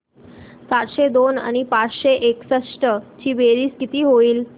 सातशे दोन आणि पाचशे एकसष्ट ची बेरीज किती होईल